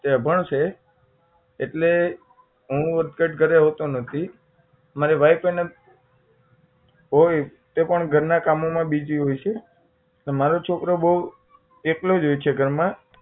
તે અભણ છે એટલે હું અટઘટ ઘરે હોતો નથી મારી wife એને હોય તો તે પણ ઘર ના કામો માં busy હોય છે તો મારો છોકરો બહુ એકલોજ હોય છે ઘર માં